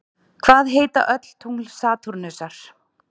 Hvað heita öll tungl Satúrnusar?